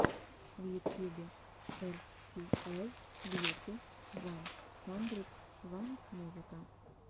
в ютьюбе эр си эл бьюти ван хандрид ван музыка